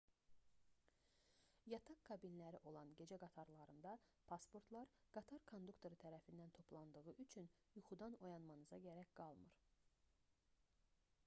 yataq kabinləri olan gecə qatarlarında pasportlar qatar konduktoru tərəfindən toplandığı üçün yuxudan oyanmanıza gərək qalmır